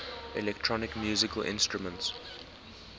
electronic musical instruments